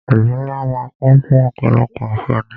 Ìlú ńlá máà ń kún fún ọ̀pọ̀lọpọ̀ àǹfáání.